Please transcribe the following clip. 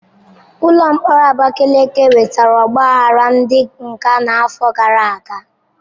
Ụlọ mkpọrọ Abakaliki nwetara ogbaghara ndi nga n'afọ gara aga.